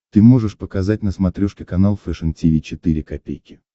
ты можешь показать на смотрешке канал фэшн ти ви четыре ка